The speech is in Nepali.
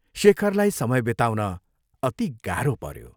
शेखरलाई समय बिताउन अति गाहो पऱ्यो।